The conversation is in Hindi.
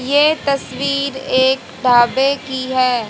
ये तस्वीर एक ढाबे की है।